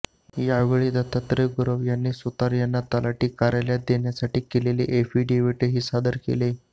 यावेळी दत्तात्रय गुरव यांनी सुतार यांना तलाठी कार्यालयात देण्यासाठी केलेले ऍफिडेव्हीटही सादर केले